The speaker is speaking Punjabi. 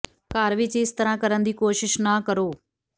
ਘਰ ਵਿਚ ਇਸ ਤਰ੍ਹਾਂ ਕਰਨ ਦੀ ਕੋਸ਼ਿਸ਼ ਨਾ ਕਰੋ